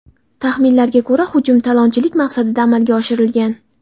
Taxminlarga ko‘ra, hujum talonchilik maqsadida amalga oshirilgan.